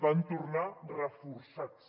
van tornar reforçats